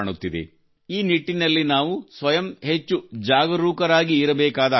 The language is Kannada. ಈ ನಿಟ್ಟಿನಲ್ಲಿ ನಾವು ಸ್ವಯಂ ಹೆಚ್ಚು ಜಾಗರೂಕರಾಗಿರಬೇಕಾದ ಅಗತ್ಯವಿದೆ